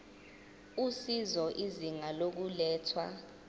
usizo izinga lokulethwa